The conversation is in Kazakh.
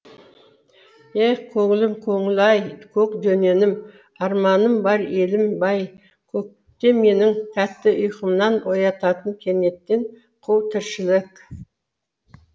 ех көңілім көңіл ай көк дөненім арманым бар елім бай көкте менің тәтті уйқымнан оятатын кенеттен қу тіршілік